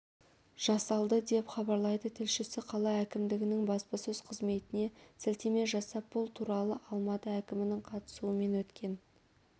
жасалды деп хабарлайды тілшісі қала әкімдігінің баспасөз қызметіне сілтеме жасап бұл туралыалматы әкімінің қатысуымен өткен